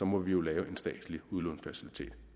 må vi jo lave en statslig udlånsfacilitet